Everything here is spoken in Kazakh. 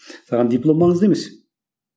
саған диплом маңызды емес